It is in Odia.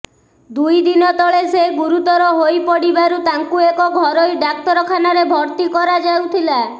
ଦୁଇ ଦିନ ତଳେ ସେ ଗୁରୁତର ହୋଇପଡିବାରୁ ତାଙ୍କୁ ଏକ ଘରୋଇ ଡାକ୍ତରଖାନାରେ ଭର୍ତ୍ତି କରାଯାଇୁଥିଲା